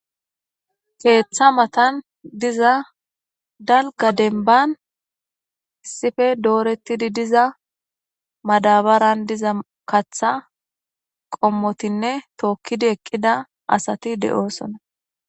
keeththa matan diza dalga denban isife doorettidi diza madabaran diza katha qommotinne tookkidi eqqida asati de7oosona.